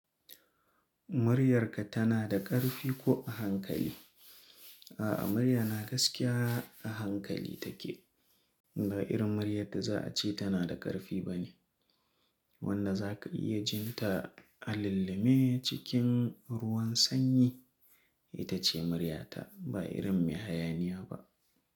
"Muryarka tana da ƙarfi ko a hankali?" A'a, muryana gaskiya a hankali take. Ba irin muryar da za a ce tana da ƙarfi ba ne. Wanda za ka iya jin ta a lalle me cikin ruwan sanyi, ita ce muryata. Ba irin mai hayaniyya ba.